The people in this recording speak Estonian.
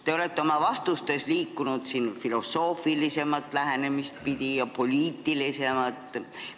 Te olete oma vastustes liikunud siin filosoofilisemat lähenemist pidi ja poliitilisemat pidi.